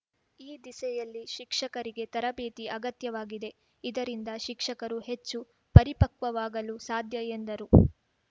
ಈ ದಿಸೆಯಲ್ಲಿ ಶಿಕ್ಷಕರಿಗೆ ತರಬೇತಿ ಅಗತ್ಯವಾಗಿದೆ ಇದರಿಂದ ಶಿಕ್ಷಕರು ಹೆಚ್ಚು ಪರಿಪಕ್ವವಾಗಲು ಸಾಧ್ಯ ಎಂದರು